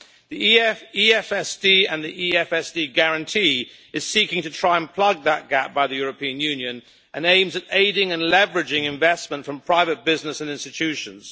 The EFSD and the EFSD Guarantee are seeking to try and plug that gap by the European Union and aims at aiding and leveraging investment from private business and institutions.